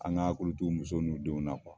An kan kulu to muso n'u denw na